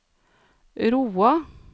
Roa